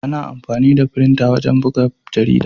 Ana amfani da firinta wajen buga jarida.